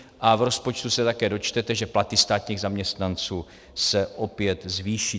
A v rozpočtu se také dočtete, že platy státních zaměstnanců se opět zvýší.